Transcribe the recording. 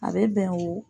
A bɛ bɛn o